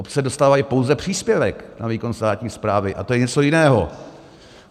Obce dostávají pouze příspěvek na výkon státní správy, a to je něco jiného.